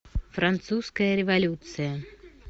французская революция